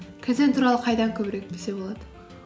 кайдзен туралы қайдан көбірек білсе болады